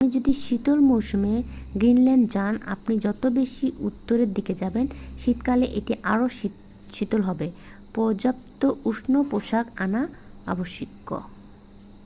আপনি যদি শীত মৌসুমে গ্রিনল্যান্ডে যান আপনি যত বেশি উত্তরের দিকে যাবেন শীতকালে এটি আরও শীতল হবে পর্যাপ্ত উষ্ণ পোশাক আনা আবশ্যিক।